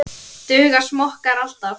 Duga smokkar alltaf?